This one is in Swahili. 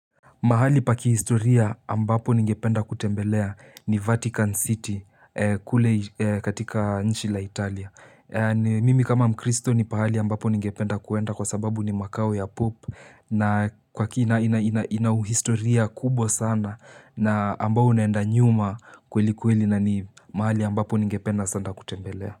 Mahali paki historia ambapo ninge penda kutembelea ni Vatican City kule katika nchi la Italia. Mimi kama Mcristo ni pahali ambapo ninge penda kuenda kwa sababu ni Makao ya Pope na kwa kina ina uhistoria kubwa sana na ambao unaenda nyuma kweli kweli na ni mahali ambapo ninge penda sana kutembelea.